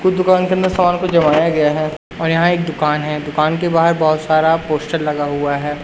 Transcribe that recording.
कुछ दुकान के अंदर सामने को जमाया गया है और यहां एक दुकान है दुकान के बाहर बहोत सारा पोस्टर लगा हुआ है।